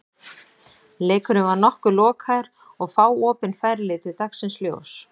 Leikurinn var nokkuð lokaður og fá opin færi litu dagsins ljós.